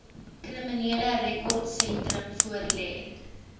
kriminele rekordsentrum voorlê